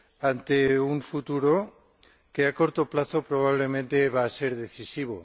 ante un futuro que a corto plazo probablemente va a ser decisivo.